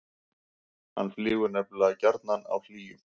hann flýgur nefnilega gjarnan á hlýjum